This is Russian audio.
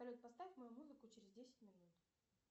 салют поставь мою музыку через десять минут